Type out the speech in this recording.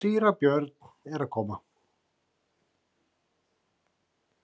Síra Björn er að koma!